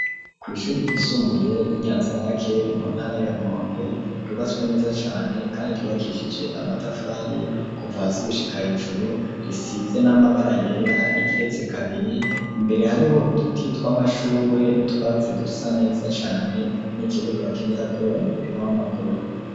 Kw'ishure ryisumbuye ry'inyanzarake mu ntara ya rumonge rubaswe neza cyane kandi yubakishije amatafari kuvazi gushika hejuru risidze n'amabara yera rigeretse kabiri imbere hariho uduti tw'amashugwe n'utwatsi dusa neza cyane n'ikibuga bakinira ko umupira w'amakuru.